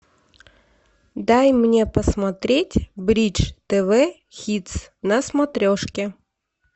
дай мне посмотреть бридж тв хитс на смотрешке